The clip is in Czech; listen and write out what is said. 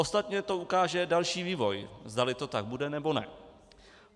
Ostatně to ukáže další vývoj, zdali to tak bude, nebo ne.